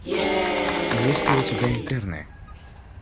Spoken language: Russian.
есть ли у тебя интерны